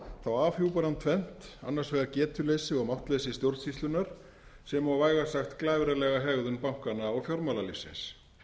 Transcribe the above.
þá afhjúpar hún tvennt annars vegar getuleysi og máttleysi stjórnsýslunnar sem og vægast sagt glæfralega hegðun bankanna og fjármálalífsins